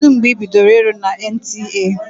Kedụ mgbe ị bidoro ịrụ na NTA?